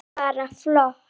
Þetta var bara flott.